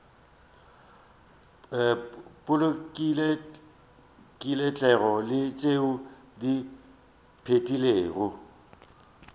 bolokegilego le tšeo di phedilego